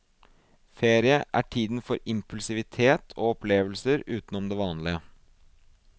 Ferie er tiden for impulsivitet og opplevelser uten om det vanlige.